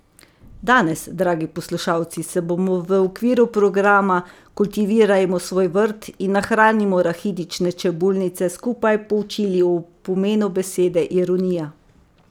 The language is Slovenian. Danes, dragi poslušalci, se bomo v okviru programa Kultivirajmo svoj vrt in nahranimo rahitične čebulnice skupaj poučili o pomenu besede ironija.